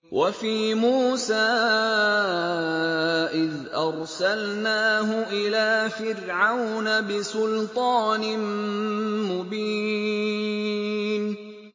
وَفِي مُوسَىٰ إِذْ أَرْسَلْنَاهُ إِلَىٰ فِرْعَوْنَ بِسُلْطَانٍ مُّبِينٍ